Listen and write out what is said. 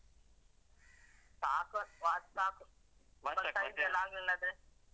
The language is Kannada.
ಸಾಕು, watch ಸಾಕು. ಮತ್ತೆ size ಎಲ್ಲಾ ಆಗ್ಲಿಲ್ಲಾದ್ರೆ ಸಾಕು.